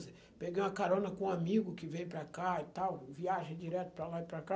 Peguei uma carona com um amigo que veio para cá e tal, viagem direto para lá e para cá.